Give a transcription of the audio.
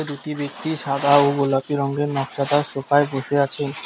দুটি ব্যক্তি সাদা ও গোলাপি রঙ্গের নকশাদার সোফায় বসে আছে।